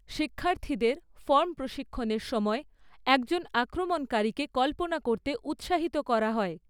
শিক্ষার্থীদের ফর্ম প্রশিক্ষণের সময় একজন আক্রমণকারীকে কল্পনা করতে উৎসাহিত করা হয়।